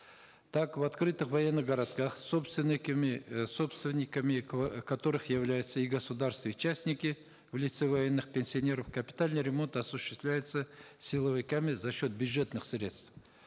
так в открытых военных городках собственниками э собственниками которых являются и государство и частники в лице военных пенсионеров капитальный ремонт осуществляется силовиками за счет бюджетных средств